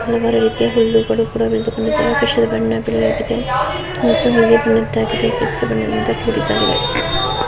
sir ಅದಕ್ಕೆ ಹೇಳು ಕೃಷ್ಣ ಯಾರು ನಮಗೆ ಬೇಕಾಗಿತ್ತು ನಂತರ--